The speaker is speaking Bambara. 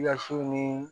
Yasiw ni